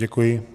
Děkuji.